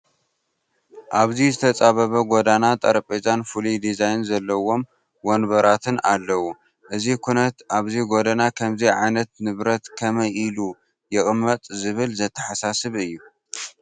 ኣብዚ ዝተፃበበ ጐደና ጠረጴዛን ፍሉይ ዲዛይን ዘለዎም ወንበራትን ኣለዉ፡፡ እዚ ኩነት ኣብዚ ጐደና ከምዚ ዓይነት ንብረት ከመይ ኢሉ ይቕመጥ ዝብል ዘተሓሳስብ እዩ፡፡